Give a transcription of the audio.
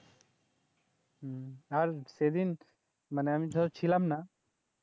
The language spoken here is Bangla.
হম আর সেদিন মানে আমি ধর ছিলাম না